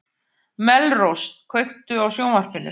Melrós, kveiktu á sjónvarpinu.